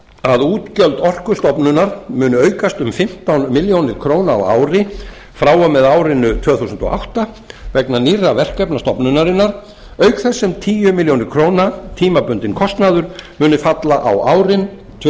að útgjöld orkustofnunar muni aukast um fimmtán milljónir króna á ári frá og með árinu tvö þúsund og átta vegna nýrra verkefna stofnunarinnar auk þess sem tíu milljónir króna tímabundinn kostnaður muni falla á árin tvö þúsund og